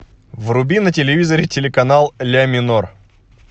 вруби на телевизоре телеканал ля минор